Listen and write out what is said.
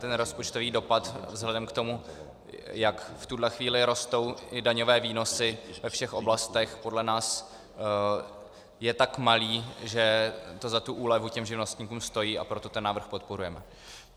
Ten rozpočtový dopad vzhledem k tomu, jak v tuhle chvíli rostou i daňové výnosy ve všech oblastech, podle nás je tak malý, že to za tu úlevu těm živnostníkům stojí, a proto ten návrh podporujeme.